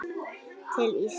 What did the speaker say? til Íslands?